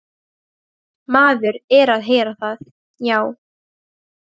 Maður er að heyra það, já.